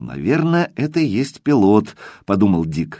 наверное это и есть пилот подумал дик